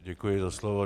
Děkuji za slovo.